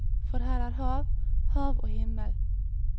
For her er hav, hav og himmel.